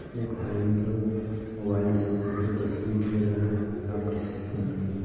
एक भाई ने तो मोबाईल से फोटो से तस्वीर ले रहे है हाफ टी-शर्ट पहेन के।